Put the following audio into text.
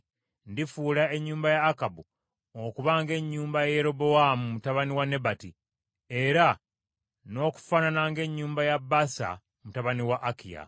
Ndifuula ennyumba ya Akabu okuba ng’ennyumba ya Yerobowaamu mutabani wa Nebati, era n’okufaanana ng’ennyumba ya Baasa mutabani wa Akiya.